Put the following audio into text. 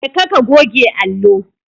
Jeka ka goge allo.